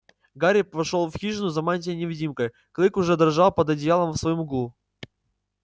гарри вошёл в хижину за мантией-невидимкой клык уже дрожал под одеялом в своём углу